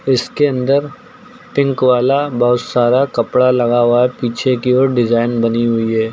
इसके अंदर पिंक वाला बहुत सारा कपड़ा लगा हुआ पीछे की ओर डिजाइन बनी हुई है।